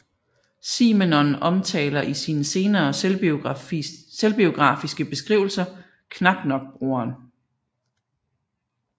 Simenon omtaler i sine senere selvbiografiske beskrivelser knap nok broderen